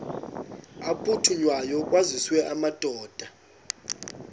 aphuthunywayo kwaziswe amadoda